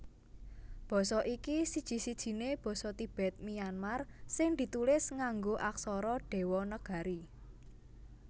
Basa iki siji sijiné basa Tibet Myanmar sing ditulis nganggo aksara Dewanagari